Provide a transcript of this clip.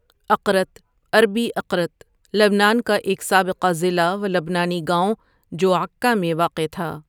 اقرت عربی إقرت لبنان کا ایک سابقہ ضلع و لبنانی گاؤں جو عکہ میں واقع تھا ۔